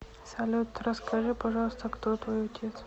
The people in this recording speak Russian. салют расскажи пожалуйста кто твой отец